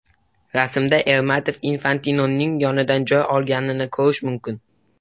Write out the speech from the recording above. Rasmda Ermatov Infantinoning yonidan joy olganini ko‘rish mumkin.